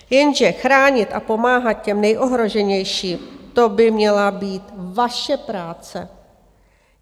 Jenže chránit a pomáhat těm nejohroženější, to by měla být vaše práce.